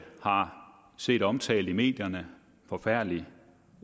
har set omtalt i medierne en forfærdelig